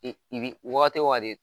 I i bi wagati o wagati